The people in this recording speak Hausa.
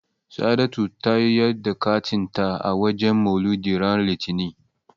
Sa'adatu ta yar da katin ta a wajen Maulidi ran Litinin.